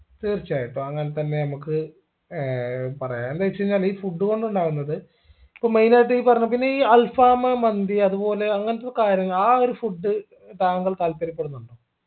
തീർച്ചയായിട്ടും അങ്ങനെതന്നെ നമുക്ക് ഏർ പറയാം എന്ത് വെച്ചയിഞ്ഞാൽ ഈ food കൊണ്ടുണ്ടാവുന്നത് ഇപ്പൊ main ആയിട്ട് ഈ പറഞ്ഞ പിന്നെ ഈ alfaham മന്തി അതുപോലെ അങ്ങനത്തെ കാര്യം ആ ഒരു food താങ്കൾ താല്പര്യപ്പെടുന്നോ